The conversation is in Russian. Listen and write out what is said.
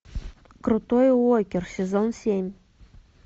крутой уокер сезон семь